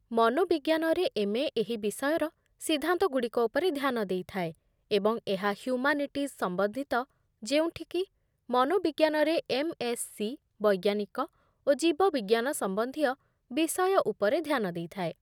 ମନୋବିଜ୍ଞାନରେ MA. ଏହି ବିଷୟର ସିଦ୍ଧାନ୍ତଗୁଡ଼ିକ ଉପରେ ଧ୍ୟାନ ଦେଇଥାଏ, ଏବଂ ଏହା ହ୍ୟୁମାନିଟିଜ୍ ସମ୍ବନ୍ଧିତ, ଯେଉଁଠିକି ମନୋବିଜ୍ଞାନରେ ଏମ୍.ଏସ୍.ସି. ବୈଜ୍ଞାନିକ ଓ ଜୀବବିଜ୍ଞାନ ସମ୍ବନ୍ଧୀୟ ବିଷୟ ଉପରେ ଧ୍ୟାନ ଦେଇଥାଏ